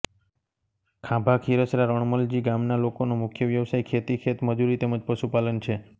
ખાંભાખીરસરા રણમલજી ગામના લોકોનો મુખ્ય વ્યવસાય ખેતી ખેતમજૂરી તેમ જ પશુપાલન છે